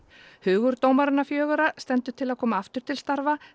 hugur dómarana fjögurra stendur til að koma aftur til starfa